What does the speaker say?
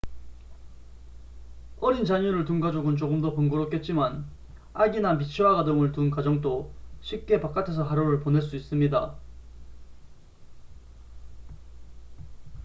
어린 자녀를 둔 가족은 조금 더 번거롭겠지만 아기나 미취학 아동을 둔 가정도 쉽게 바깥에서 하루를 보낼 수 있습니다